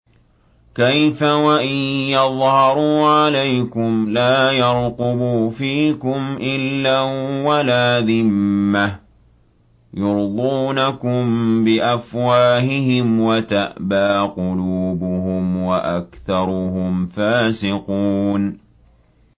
كَيْفَ وَإِن يَظْهَرُوا عَلَيْكُمْ لَا يَرْقُبُوا فِيكُمْ إِلًّا وَلَا ذِمَّةً ۚ يُرْضُونَكُم بِأَفْوَاهِهِمْ وَتَأْبَىٰ قُلُوبُهُمْ وَأَكْثَرُهُمْ فَاسِقُونَ